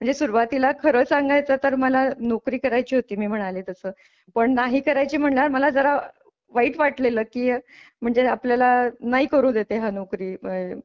म्हणजे सुरवातीला खरं सांगायचं तर मला नोकरी करायची होती मी म्हणाले तसं पण नाही करायची म्हणल्यावर मला जरा वाईट वाटलेलं की म्हणजे आपल्याला नाही करू देते हा नोकरी आह.